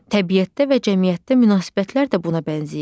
Təbiətdə və cəmiyyətdə münasibətlər də buna bənzəyir.